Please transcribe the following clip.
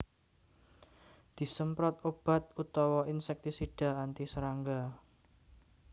Disemprot obat utawa insèktisida anti serangga